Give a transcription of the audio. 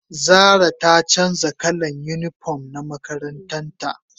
zara ta canja kalan unipom na ma'aikatan ta